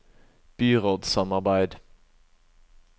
byrådssamarbeid